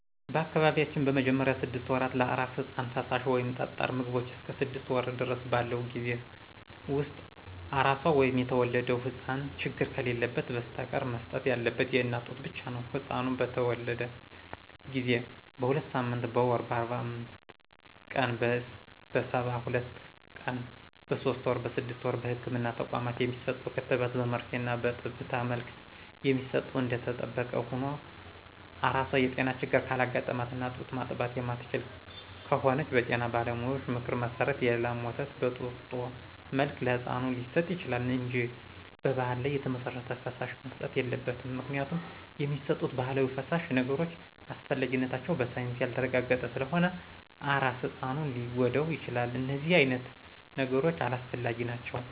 በአካባቢያችን በመጀመሪያ ስድስት ወራት ለአራስ ህጻን ፈሳሽ ወይም ጠጣር ምግቦቾ እስከ ስድስት ወር ድረስ ባለው ጊዜ ውስጥ አራሷ ወይም የተወለደው ህጻን ችግር ከሌለበት በስተቀር መሰጠት ያለበት የእናት ጡት ብቻ ነው። ህጻኑ በተተወለደ ጊዜ: በሁለትሳምንት: በወር :በአርባአምስት ቀን :በሰባሁለት ቀን በሶስት ወር: በስድስት ወር በህክምና ተቋማት የሚሰጡ ክትባት በመርፌና በጠብታ መልክ የሚሰጡ እደተጠበቀ ሁኖ አራሷ የጤና ችግር ካጋጠማትና ጡት ማጥባት የማትችል ከሆነች በጤና ባለሙያዎች ምክር መሰረት የላም ወተት በጡጦ መልክ ለህጻኑ ሊሰጥ ይችላል እንጂ በባህል ላይ የተመሰረተ ፈሳሽ መሰጠት የለበትም ምክንያቱም የሚሰጡት ባህላዊ ፈሳሽ ነገሮች አስፈላጊነታቸው በሳይንስ ያልተረጋገጠ ስለሆነ አራስ ህጻኑን ሊጎዳው ይችላል እደነዚህ አይነት ነገሮች አላስፈላጊ ናቸው።